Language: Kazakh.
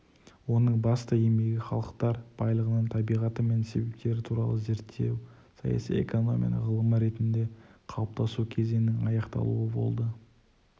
оның басты еңбегі халықтар байлығының табиғаты мен себептері туралы зерттеусаяси экономияның ғылым ретінде қалыптасу кезеңінің аяқталуы болды